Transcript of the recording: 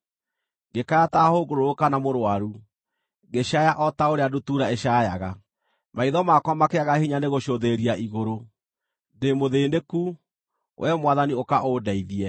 Ngĩkaya ta hũngũrũrũ kana mũrũaru, ngĩcaaya o ta ũrĩa ndutura ĩcaayaga. Maitho makwa makĩaga hinya nĩgũcũthĩrĩria igũrũ. Ndĩ mũthĩĩnĩku; Wee Mwathani ũka ũndeithie!”